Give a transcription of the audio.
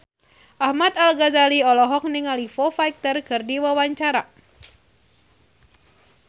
Ahmad Al-Ghazali olohok ningali Foo Fighter keur diwawancara